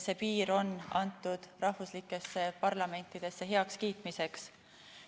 See piir on antud rahvuslikesse parlamentidesse heakskiitmiseks.